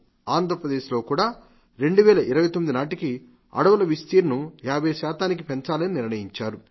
ఆంధ్రప్రదేశ్ లో కూడా 2019 నాటికి అడవులు విస్తీర్ణం 50 శాతానికి పెంచాలని నిర్ణయించారు